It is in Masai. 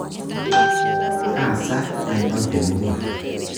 Kaa saa eipang' temurua?